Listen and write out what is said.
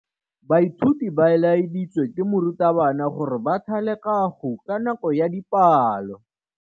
Baithuti ba laeditswe ke morutabana gore ba thale kagô ka nako ya dipalô.